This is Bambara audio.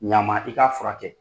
Ɲ'a ma i k'a fura kɛ.